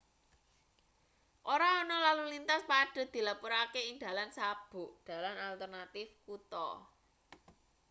ora ana lalu lintas padhet dilapurake ing dalan sabuk dalan alternatif kutha